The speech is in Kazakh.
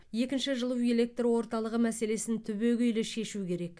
екінші жылу электр орталығы мәселесін түбегейлі шешу керек